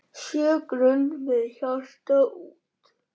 Sjö grönd með hjarta út.